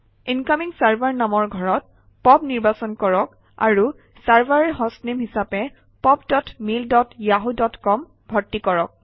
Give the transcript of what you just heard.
incoming server নামৰ ঘৰত POP নিৰ্বাচন কৰক আৰু চাৰ্ভাৰ হষ্টনেম হিচাপে POP dot mail dot Yahoo dot com ভৰ্তি কৰক